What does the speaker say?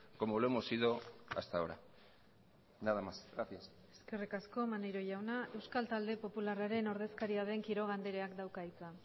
como lo hemos sido hasta ahora nada más gracias eskerrik asko maneiro jauna euskal talde popularraren ordezkaria den quiroga andreak dauka hitza